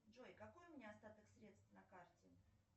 джой какой у меня остаток средств на карте